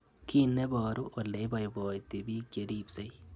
Kiy neparu ole ipaipaiti pik che ripsei